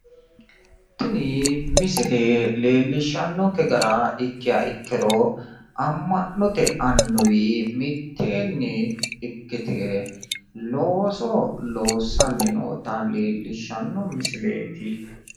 Tini misile leellishshannonkke gara ikkiha ikkiro amma'note annuwi mitteenni ikkite looso loossanni noota leellishanno misileeti.